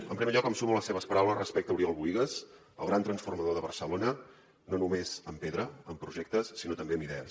en primer lloc em sumo a les seves paraules respecte a oriol bohigas el gran transformador de barcelona no només amb pedra amb projectes sinó també amb idees